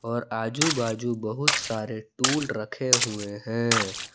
और आजू बाजू बहुत सारे टूल रखे हुए हैं।